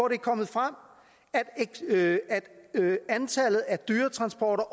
er kommet frem at antallet af dyretransporter